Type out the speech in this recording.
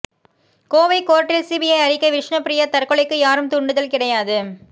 கோவை கோர்ட்டில் சிபிஐ அறிக்கை விஷ்ணுபிரியா தற்கொலைக்கு யாரும் தூண்டுதல் கிடையாது